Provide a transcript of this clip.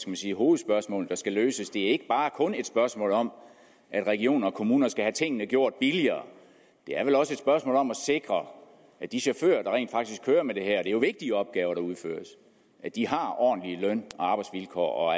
man sige hovedspørgsmålene der skal løses det er ikke kun et spørgsmål om at regioner og kommuner skal have tingene gjort billigere det er vel også et spørgsmål om at sikre at de chauffører der rent faktisk kører med det her det er jo vigtige opgaver der udføres har ordentlige løn og arbejdsvilkår og